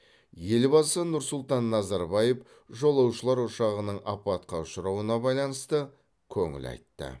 елбасы нұр сұлтан назарбаев жолаушылар ұшағының апатқа ұшырауына байланысты көңіл айтты